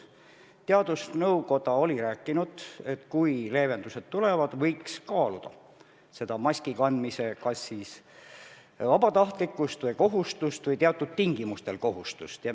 Teadusnõukoda oli rääkinud, et kui leevendused tulevad, võiks kaaluda maski kandmise kas siis vabatahtlikkust või kohustust või teatud tingimustel kohustust.